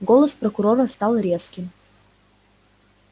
голос прокурора стал резким